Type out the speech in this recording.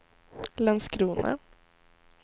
Landskrona